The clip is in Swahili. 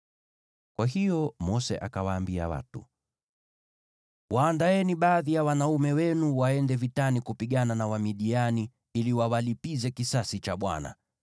Kwa hiyo Mose akawaambia watu, “Waandaeni baadhi ya wanaume wenu waende vitani kupigana na Wamidiani ili wawalipize kisasi cha Bwana .